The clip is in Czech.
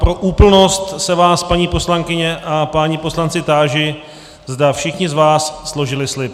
Pro úplnost se vás, paní poslankyně a páni poslanci, táži, zda všichni z vás složili slib.